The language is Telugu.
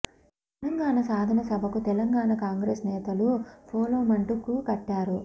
తెలంగాణ సాధన సభకు తెలంగాణ కాంగ్రెస్ నేతలు పోలోమంటూ క్యూ కట్టారు